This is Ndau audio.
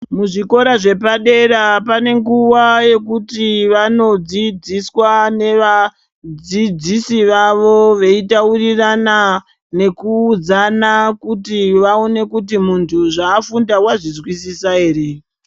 Muzvikora zvepadera panenguva yekuti vanodzidziswa nevadzidzisi vavo. Veitaurirana nekuudzana kuti vaone kuti muntu zvafunda vazvizwisisa ere.